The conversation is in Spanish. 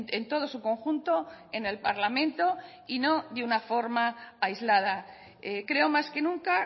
en todo su conjunto en el parlamento y no de una forma aislada creo más que nunca